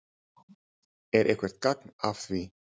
Er eitthvert gagn að því?